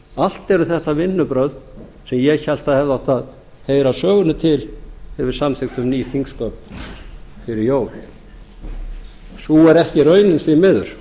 allt eru þetta vinnubrögð sem ég hélt að hefðu átt að heyra sögunni til þegar við samþykktum ný þingsköp fyrir jól sú er ekki raunin því miður